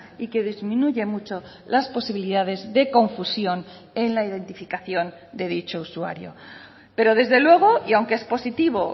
y que disminuye mucho las posibilidades de confusión en la identificación de dicho usuario pero desde luego y aunque es positivo